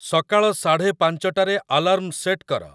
ସକାଳ ସାଢ଼େ ପାଞ୍ଚଟାରେ ଆଲାର୍ମ ସେଟ କର